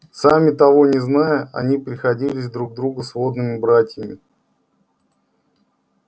сами того не зная они приходились друг другу сводными братьями